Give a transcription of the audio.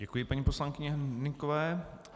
Děkuji paní poslankyni Hnykové.